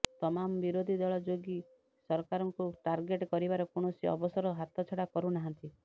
ତମାମ ବିରୋଧୀ ଦଳ ଯୋଗୀ ସରକାରଙ୍କୁ ଟାର୍ଗେଟ କରିବାର କୌଣସି ଅବସର ହାତଛଡ଼ା କରୁ ନାହାନ୍ତି